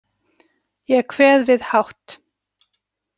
Ég kveð við hátt.